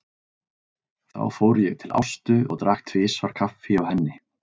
Þá fór ég til Ástu og drakk tvisvar kaffi hjá henni.